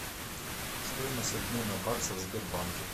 стоимость обмена бакса в сбербанке